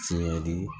Tiɲɛli